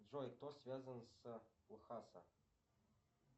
джой кто связан с ухаса